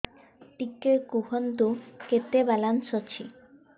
ଟିକେ କୁହନ୍ତୁ କେତେ ବାଲାନ୍ସ ଅଛି